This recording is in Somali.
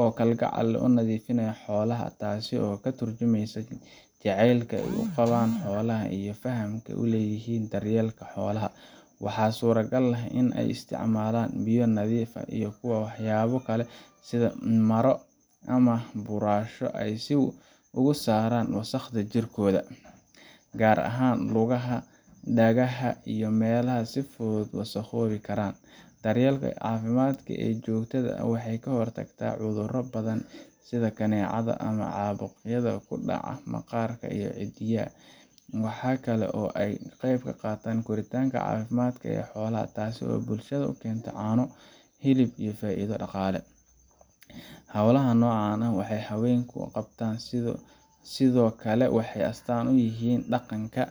oo kalgacal leh u nadiifinaya xoolaha, taasoo ka tarjumaysa jacaylka ay u qabaan xoolaha iyo fahamka ay u leeyihiin daryeelka xoolaha. Waxaa suuragal ah in ay isticmaalaan biyo nadiif ah iyo waxyaabo kale sida maro ama buraash si ay uga saaraan wasakhda jirkooda, gaar ahaan lugaha, dhagaha ama meelaha ay si fudud u wasakhoobi karaan. Daryeelkan caafimaad ee joogtada ah waxa uu ka hortagayaa cudurro badan sida kaneecada ama caabuqyada ku dhaca maqaarka iyo ciddiyaha. Waxa kale oo uu ka qayb qaataa koritaanka caafimaadka leh ee xoolaha, taasoo bulshada u keenta caano, hilib iyo faa’iido dhaqaale. Hawlaha noocan ah ee ay haweenku qabtaan sidoo kale waxay astaan u yihiin dhaqanka